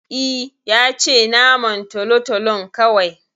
I, yace naman tolotolon kawai